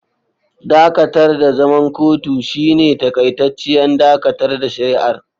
Dakatar da zaman kotun shine takaitacciyar dakatar da shari'ar.